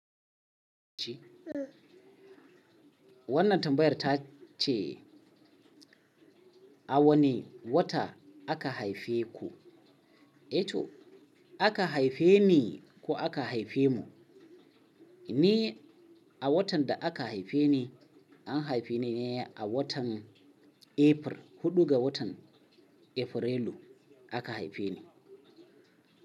Wannan tambayar ta ce a wane wata aka haife ku, eh to aka haife ni ko aka haife mu, ni a watan da aka haife ni an haife ni ne a watan April, huɗu ga watan Afrilu aka haife ni.